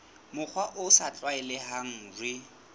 mokgwa o sa tlwaelehang re